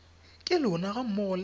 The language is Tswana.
ka lona ga mmogo le